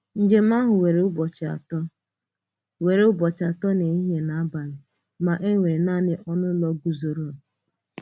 Njem ahụ wèrè ụbọchị atọ wèrè ụbọchị atọ na ehíhie na abalị, mà e nwere naanị ọnụ ụlọ guzòro!